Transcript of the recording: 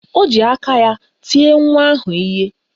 O ji aka ya tie nwa ahụ ihe.